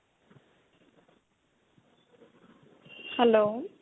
hello